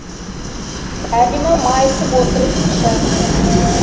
әлима майысып отырып шәй құяды